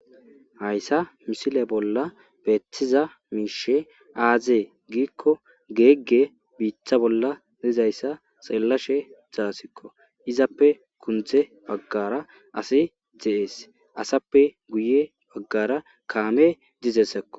hayssa misile bolla beetiza miishe aazee giikko geegge biitha bolla lizayssa xellashe zaasikko izappe kundze baggara asi de7ees asappe guye baggara kaame dizessakko